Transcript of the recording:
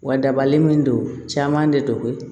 Wa dabali min don caman de don